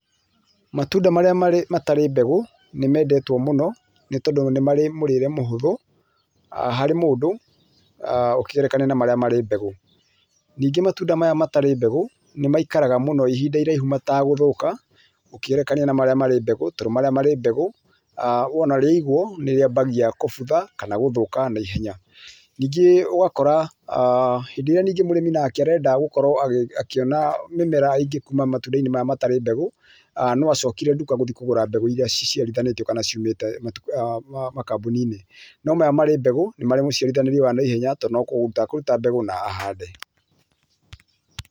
Matunda marĩa matarĩ mbegũ, nĩ mendetwo mũno nĩ tondũ nĩmarĩ murĩrire mũhothũ harĩ mũndũ ũkĩgerekania na marĩa marĩ mbegu. Ningĩ matunda maya matarĩ mbegũ nĩ maikaraga mũno ihinda iraihu mategũthũka ũkĩgerekania na marĩa marĩ mbegũ. Tondũ marĩa marĩ mbegũ wona rĩaiguo rĩambagia kũbutha kana gũthũka na ihenya. Ningĩ ũgũkora hĩndĩ ĩrĩa mũrĩmi arenda gũkorwo akĩona mĩmera ĩngĩ kuuma matunda-inĩ maya matarĩ mbegũ no acokire nduka gũthiĩ kũgũra mbegũ irĩa ciciarĩthanĩtio kana ciumĩte makambuni-inĩ no maya marĩ mbegu ni marĩ mũciarithanio wa naihenya tondũ no kũruta e kũruta mbegu ahande.